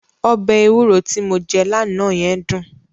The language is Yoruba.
Ọbẹ̀ ewúro ti mo jẹ́ lánàá yẹn dùn.